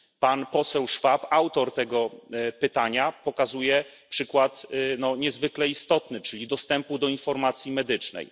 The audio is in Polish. Pan poseł Schwab, autor tego pytania, pokazuje przykład niezwykle istotny, czyli dostępu do informacji medycznej.